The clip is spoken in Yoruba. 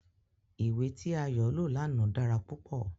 Iwe ti Ayo lo làná dara pupọ